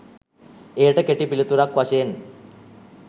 එයට කෙටි පිළිතුරක් වශයෙන්